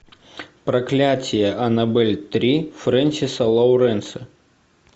проклятие аннабель три фрэнсиса лоуренса